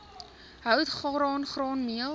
hout graan graanmeel